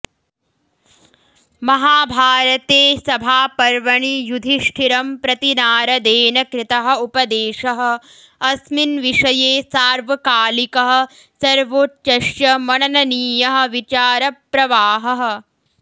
महाभारते सभापर्वणि युधिष्ठिरं प्रति नारदेन कृतः उपदेशः अस्मिन्विषये सार्वकालिकः सर्वोच्चश्च मनननीयः विचारप्रवाहः